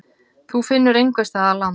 Þú finnur einhvers staðar land.